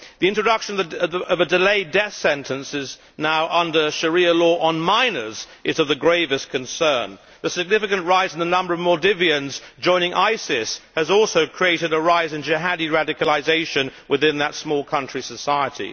The introduction of delayed death sentences, now under Sharia law, on minors is of the gravest concern. The significant rise in the number of Maldivians joining ISIS has also created a rise in Jihadi radicalisation within that small country's society.